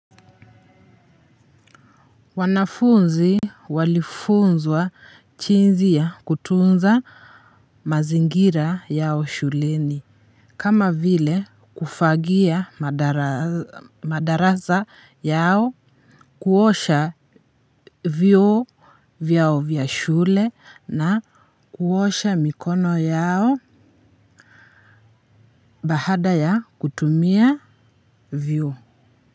Wanafunzi walifunzwa chinzi ya kutunza mazingira yao shuleni kama vile kufagia madarasa, madarasa yao, kuosha vyoo vyao vya shule na kuosha mikono yao. Baada ya kutumia vyoo.